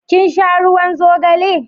kin sha ruwan zogale?